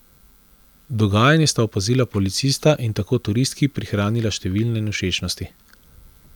Dogajanje sta opazila policista in tako turistki prihranila številne nevšečnosti.